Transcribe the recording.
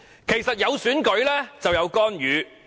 其實，有選舉便有干預。